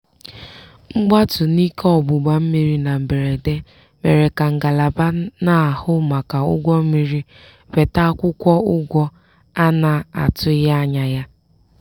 mgbatu n'ike ọgbụgba mmiri na mberede mere ka ngalaba na-ahụ maka ụgwọ mmiri weta akwụkwọ ụgwọ a na-atụghị anya ya. "